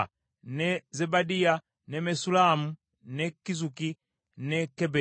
ne Zebadiya, ne Mesullamu, ne Kizuki, ne Keberi,